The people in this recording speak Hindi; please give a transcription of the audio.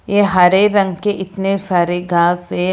हरे रंग के इतने सारे घास है।